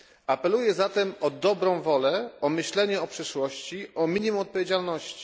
Apeluję zatem o dobrą wolę, o myślenie o przyszłości, o minimum odpowiedzialności.